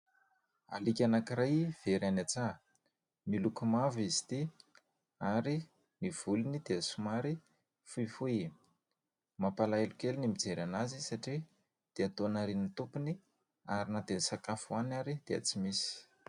Aliaka anankiray very any an-tsaha. Miloko mavo izy ity ary ny volony dia somary fohifohy. Mampalahelo kely ny mijery azy satria dia toa nariany tompony ary na dia ny sakafo hohaniny ary dia tsy misy.